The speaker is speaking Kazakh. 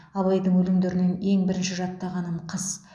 абайдың өлеңдерінен ең бірінші жаттағаным қыс